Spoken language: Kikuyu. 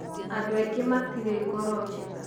Andũ aingĩ matirĩ ngoro njega